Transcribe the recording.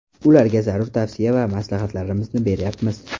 Ularga zarur tavsiya va maslahatlarimizni beryapmiz.